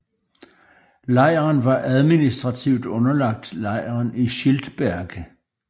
Lejren var administrativt underlagt lejren i Schildberg